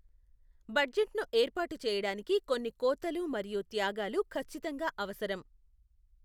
బడ్జెట్ను ఏర్పాటు చేయడానికి కొన్ని కోతలు మరియు త్యాగాలు ఖచ్చితంగా అవసరం.